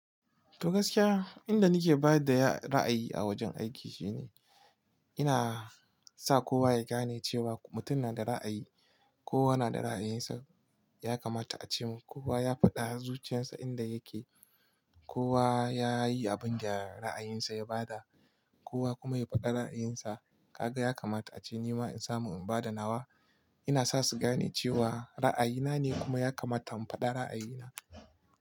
To gaskiya, inda nake bayar da ra'ayi a wajen aiki shine ina sa kowa ya gane cewa mutum na da ra'ayi. Kowa na da ra'ayinsa, ya kamata a ce. Kowa ya faɗa zuciyarsa inda yake. Kowa ya yi abin da ra'ayinsa ya ba da, kowa kuma ya faɗi ra'ayinsa. Kaga ya kamata ace ni ma in samu in ba da nawa. Ina sa su gane cewa ra'ayina ne kuma ya kamata in faɗa ra'ayina.